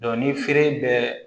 ni feere bɛ